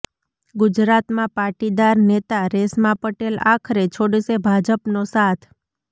ગુજરાતમાં પાટીદાર નેતા રેશમા પટેલ આખરે છોડશે ભાજપનો સાથ